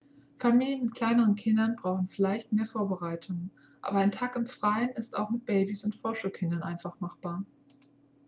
familien mit kleinen kindern brauchen vielleicht mehr vorbereitungen aber ein tag im freien ist auch mit babys und vorschulkindern einfach machbar